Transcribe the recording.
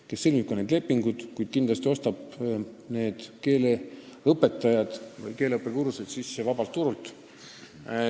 Tema sõlmib need lepingud, kuid kindlasti ostab vabalt turult sisse ka keeleõpetajad või keeleõppekursused.